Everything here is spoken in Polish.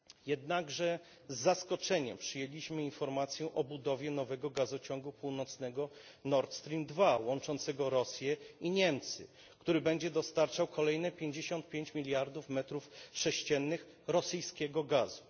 Jednakże z zaskoczeniem przyjęliśmy informację o budowie nowego gazociągu północnego Nord Stream 2 łączącego Rosję i Niemcy, który będzie dostarczał kolejne pięćdziesiąt pięć miliardów metrów sześciennych rosyjskiego gazu.